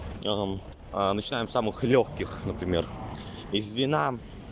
а а начинаем с самых лёгких например из вина